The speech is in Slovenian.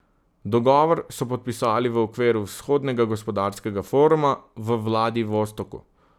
Dogovor so podpisali v okviru Vzhodnega gospodarskega foruma v Vladivostoku.